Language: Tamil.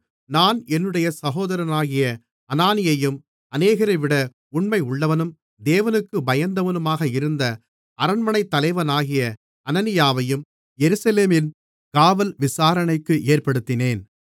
நான் என்னுடைய சகோதரனாகிய அனானியையும் அநேகரைவிட உண்மையுள்ளவனும் தேவனுக்குப் பயந்தவனுமாக இருந்த அரண்மனைத் தலைவனாகிய அனனியாவையும் எருசலேமின் காவல் விசாரணைக்கு ஏற்படுத்தினேன்